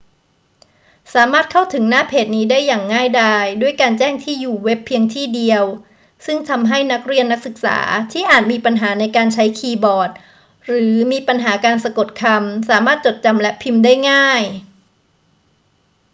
สามารถเข้าถึงหน้าเพจนี้ได้อย่างง่ายดายด้วยการแจ้งที่อยู่เว็บเพียงที่อยู่เดียว ซึ่งทำให้นักเรียนนักศึกษาที่อาจมีปัญหาในการใช้คีย์บอร์ดหรือมีปัญหาการสะกดคำ สามารถจดจำและพิมพ์ได้ง่าย